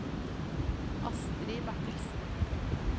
Astrid Bertelsen